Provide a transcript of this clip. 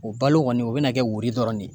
O balo kɔni o bɛna kɛ wuri dɔrɔn de ye